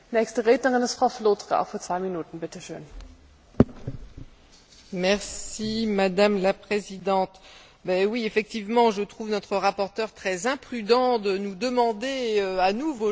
Madame la Présidente, effectivement, je trouve notre rapporteur très imprudent de nous demander à nous, vos chers collègues, de ratifier, de donner notre agrément à un accord qui, vraiment, est extrêmement problématique.